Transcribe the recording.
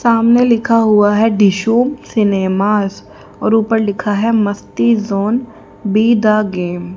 सामने लिखा हुआ है ढिशुम सिनेमा और ऊपर लिखा है Masti zone be the game --